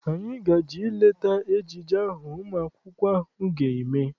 Anyị ga-eje leta ejije ahụ ụmụ akwụkwọ ahụ ga-eme.